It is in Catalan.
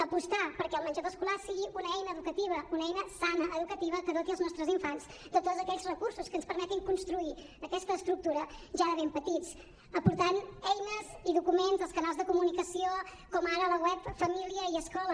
apostar perquè el menjador escolar sigui una eina educativa una eina sana educativa que doti els nostres infants de tots aquells recursos que ens permetin construir aquesta estructura ja de ben petits aportant eines i documents als canals de comunicació com ara a la web família i escola